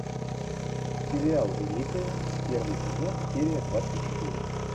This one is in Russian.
сериал великая первый сезон серия двадцать четыре